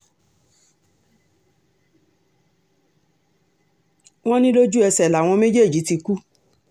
wọ́n ní lójú ẹsẹ̀ làwọn méjèèjì ti kú